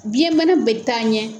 Biyɛn bana bɛ taa ɲɛ